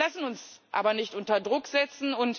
Wir lassen uns aber nicht unter Druck setzen.